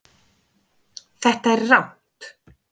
Þetta er rangt